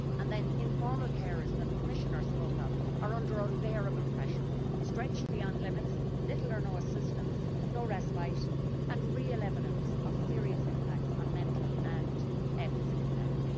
And then the informal carers that the Commissioner spoke of are under unbearable pressure, stretched beyond limits with little or no assistance, no respite and real evidence of serious impacts on mental and physical health.